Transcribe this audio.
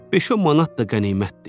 Beş-on manat da qənimətdir.